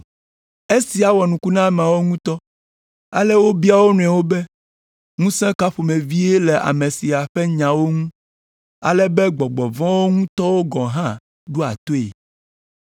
Esia wɔ nuku na ameawo ŋutɔ, ale wobia wo nɔewo be, “Ŋusẽ ka ƒomevie le ame sia ƒe nyawo ŋu, ale be gbɔgbɔ vɔ̃ ŋutɔwo gɔ̃ hã ɖoa toe?”